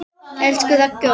Elsku Raggi okkar.